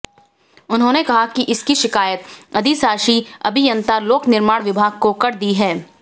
उन्होंने कहा कि इसकी शिकायत अधिशाषी अभियंता लोक निर्माण विभाग को कर दी है